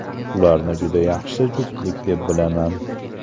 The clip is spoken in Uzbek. Ularni juda yaxshi juftlik deb bilaman.